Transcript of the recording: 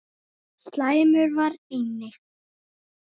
Slæmur var einnig